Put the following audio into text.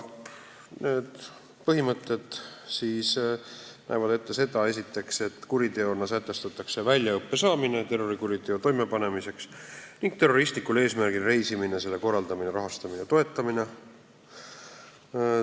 Need põhimõtted näevad esiteks ette seda, et kuriteona sätestatakse väljaõppe saamine terrorikuriteo toimepanemiseks ning terroristlikul eesmärgil reisimine, selle korraldamine, rahastamine ja toetamine.